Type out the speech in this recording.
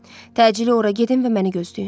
Təcili ora gedin və məni gözləyin.